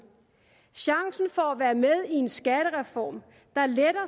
chancen for at være med i en skattereform der letter